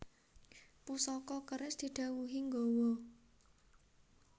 Pusaka keris didhawuhi nggawa